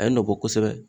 A ye nɔ bɔ kosɛbɛ